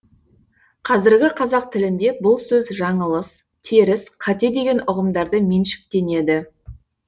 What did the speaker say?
қазіргі қазақ тілінде бұл сөз жаңылыс теріс қате деген ұғымдарды меншіктенеді